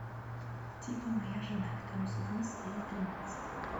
типа моя жена второй сезон серия тринадцать